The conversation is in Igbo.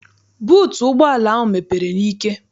Buutu ụgbọala ahụ mepere n'ike.